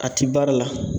A ti baara la